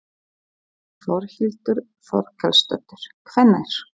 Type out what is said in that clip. Þórhildur Þorkelsdóttir: Hvenær?